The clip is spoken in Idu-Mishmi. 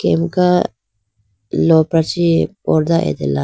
pirka lopra chee pordah atela.